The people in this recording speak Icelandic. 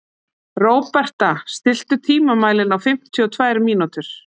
Róberta, stilltu tímamælinn á fimmtíu og tvær mínútur.